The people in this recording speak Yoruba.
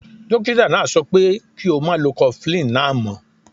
Dokita naa so pe ki o ma lo cofflin naa mo.